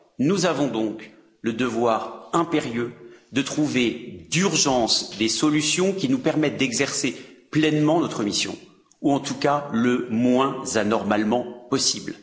Nous avons donc le devoir impérieux de trouver d'urgence des solutions qui nous permettent d'exercer pleinement notre mission, ou en tout cas le moins anormalement possible.